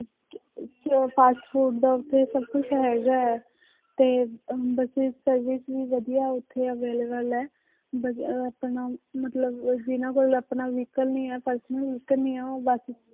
ਤੇ ਉਹ fast food ਦਾ ਉੱਥੇ ਸਭ ਕੁਛ ਹੈਗਾ ਹੈ, ਤੇ ਅਹ buses service ਵੀ ਵਧੀਆ ਉੱਥੇ available ਹੈ ਵਧੀਆ ਆਪਣਾ ਮਤਲਬ ਉਹ ਜਿੰਨਾਂ ਕੋਲ ਆਪਣਾ vehicle ਨੀ ਹੈ personal vehicle ਨੀ ਹੈ ਉਹ ਬਸ